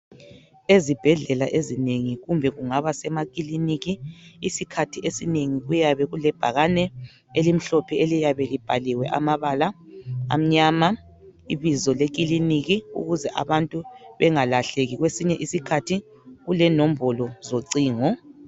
Ezibhedlela ezinengi kumbe kungaba semakiliniki isikhathi esinengi kuyabe kulebhakane elìmhlophe eliyabe libhaliwe amabala amnyama Ibizo leKiliniki ukuze abantu bengalahleki kwesinye isikhathi kulenombolo zocingo.